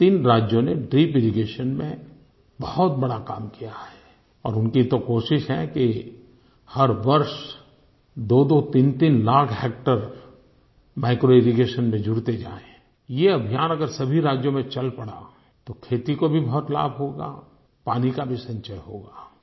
तीन राज्यों ने ड्रिपिरिगेशन में बहुत बड़ा काम किया है और उनकी तो कोशिश है कि हर वर्ष दोदो तीनतीन लाख हेक्टेयर माइक्रोइरिगेशन में जुड़ते जाएँ ये अभियान अगर सभी राज्यों में चल पड़ा तो खेती को भी बहुत लाभ होगा पानी का भी संचय होगा